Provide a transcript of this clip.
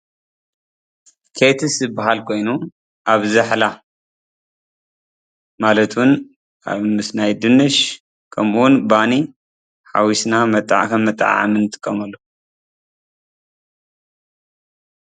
ቼትስ ዝበሃል ኾይኑ ኣብ ዛሕላ ማለት ውን ኣብ ድንሽ ባኒ ሓውስና መጠዓዓሚ እንጥቀመሉ እዩ።